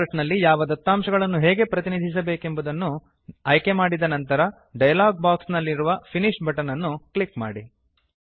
chart ನಲ್ಲಿ ಯಾವ ದತ್ತಾಂಶಗಳನ್ನು ಹೇಗೆ ಪ್ರತಿನಿಧಿಸಬೇಕು ಎಂಬುವುದನ್ನು ಆಯ್ಕೆ ಮಾಡಿದ ಅನಂತರ ಡಯಲಾಗ್ ಬಾಕ್ಸ್ ನಲ್ಲಿರುವ ಫಿನಿಶ್ ಬಟನ್ ಅನ್ನು ಕ್ಲಿಕ್ ಮಾಡಿ